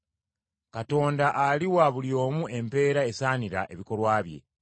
Katonda aliwa buli omu empeera esaanira ebikolwa bye.